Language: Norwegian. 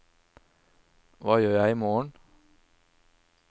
hva gjør jeg imorgen